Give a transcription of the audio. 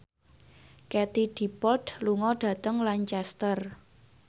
Katie Dippold lunga dhateng Lancaster